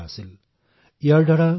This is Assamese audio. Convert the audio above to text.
যত গণিত অতি সৰল আৰু অতি দ্ৰুত হৈ পৰিছিল